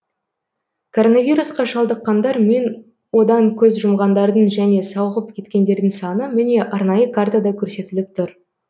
коронавирусқа шалдыққандар мен одан көз жұмғандардың және сауығып кеткендердің саны міне арнайы картада көрсетіліп тұр